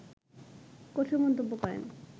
কঠোর মন্তব্য করেন